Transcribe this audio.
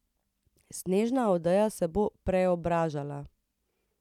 Snežna odeja se bo preobražala.